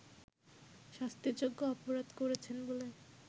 শাস্তিযোগ্য অপরাধ করেছেন বলে